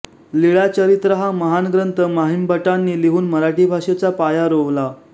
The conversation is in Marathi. लीळाचरित्र हा महान ग्रंथ म्हाइंभटांनी लिहून मराठी भाषेचा पाया रोवला